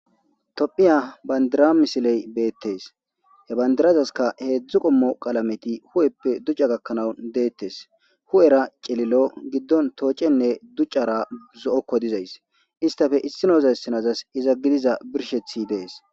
Tophphiya bandira misiley be'etees. He bandirazaska heezzu qoomo qalameti huphphee duchaakka gakanawu de'etees. Huphphera cilillo giddon tooccenne duchara zo'oko diza issa, isstapee issinoza issinazayss iza gidiza birshsheti de'ees.